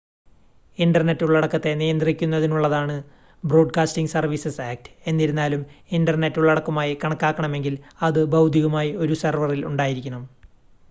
internet ഉള്ളടക്കത്തെ നിയന്ത്രിക്കുന്നതിനുള്ളതാണ് broadcasting services act എന്നിരുന്നാലും ഇൻ്റർനെറ്റ് ഉള്ളടക്കമായി കണക്കാക്കണമെങ്കിൽ അത് ഭൗതികമായി ഒരു സെർവറിൽ ഉണ്ടായിരിക്കണം